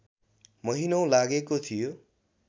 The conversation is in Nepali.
महिनौँ लागेको थियो